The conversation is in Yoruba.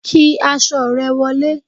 kí aṣọ re wolé